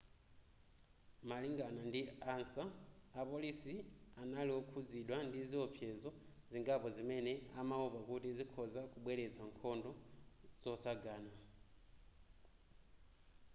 malingana ndi ansa apolisi anali okhudzidwa ndi ziwopsezo zingapo zimene amawopa kuti zikhoza kubweretsa nkhondo zotsagana